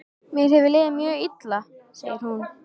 Mér hefur liðið mjög illa, segir hún.